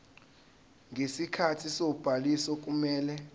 ngesikhathi sobhaliso kumele